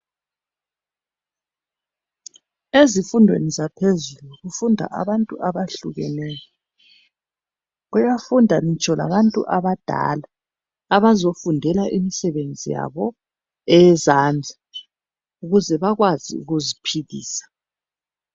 Ezifundweni zaphezulu kufunda abantu abayehlukeneyo .Kuyafunda ngitsho labantu abadala abazofundela imisebenzi yabo eyezandla .ukuze bakwazi ukuziphilisa .